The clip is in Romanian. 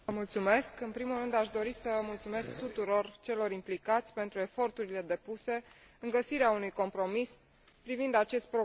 În primul rând, aș dori să mulțumesc tuturor celor implicați pentru eforturile depuse în vederea găsirii unui compromis privind acest program.